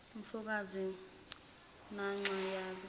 mfokazi nanxa yabe